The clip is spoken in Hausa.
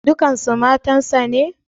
Dukkansu matansa ne?